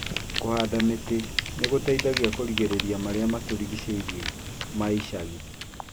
Kũhanda mĩtĩ nĩ gũteithagia kũgitĩra marĩa matũrigicĩirie ma icagi.